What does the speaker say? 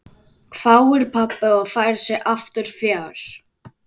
hváir pabbi og færir sig aftur fjær.